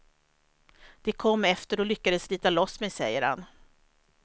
De kom efter och lyckades slita loss mig, säger han.